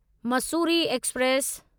Mussoorie express